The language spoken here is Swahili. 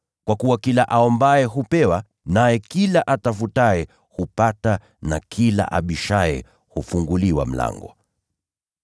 Kwa kuwa kila aombaye hupewa; naye kila atafutaye hupata; na kila abishaye hufunguliwa mlango.